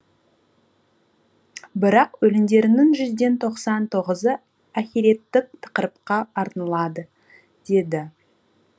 бірақ өлеңдерінің жүзден тоқсан тоғызы ахиреттік тақырыпқа арналады деді